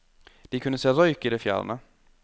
De kunne se røyk i det fjerne.